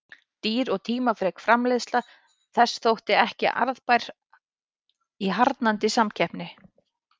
Dýr og tímafrek framleiðsla þess þótti ekki arðbær í harðnandi samkeppni.